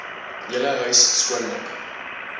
hele huis skoonmaak